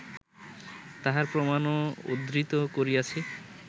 তাহার প্রমাণও উদ্ধৃত করিয়াছি